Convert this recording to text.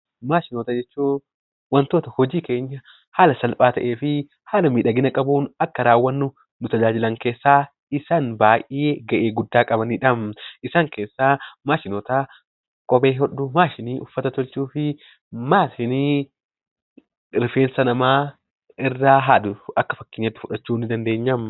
Maashinoota jechuun wantoota hojii keenya haala salphaa ta'ee fi haala miidhagina qabuun akka raawwannu nu tajaajilan keessaa isaan baay'ee gahee guddaa qabanidha. Isaan keessaa maashinoota kophee hodhu, maashinii uffata tolchu, fi maashinii rifeensa nama irraa haaduu akka fakkeenyaatti fudhachuu ni dandeenya.